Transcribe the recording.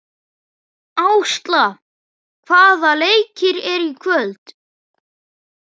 Ásla, hvaða leikir eru í kvöld?